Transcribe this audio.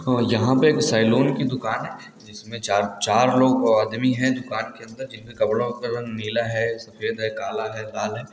--और यहाँ पर एक सैलून की दुकान है जिसमें चार चा चार लोग आदमी है दुकान के अन्दर जिनमे कपड़ो का कलर नीला है सफेद है काला है लाल है।